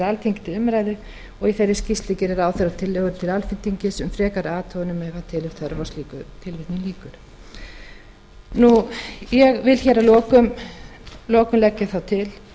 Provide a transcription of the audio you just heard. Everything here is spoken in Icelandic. alþingi til umræðu í þeirri skýrslu geri ráðherra tillögur til alþingis um frekari athuganir ef hann telur þörf á slíku ég vil að lokum leggja það til